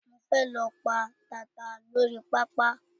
Mo fe lọ pa tata lórí pápá